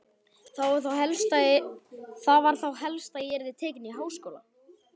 Það var þá helst að ég yrði tekin í háskóla!